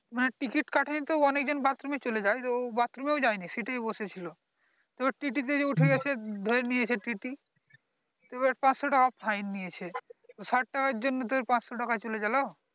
তো ticket কাটে নি তো অনেক জন bathroom এ চলে যায় তো ও bathroom ও যায় নি seat এ বসেছিল তো TT উঠে গাছে ধরে নিয়েছে TT তো এবার পাচশটাকা fine নিয়েছে ষাট টাকার জন্য তোর পাচশ টাকা চলে গেলো